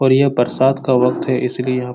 और यह बरसात का वक्त है इसलिए यहाँ --